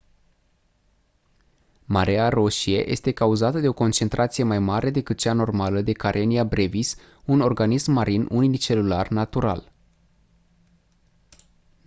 mareea roșie este cauzată de o concentrație mai mare decât cea normală de karenia brevis un organism marin unicelular natural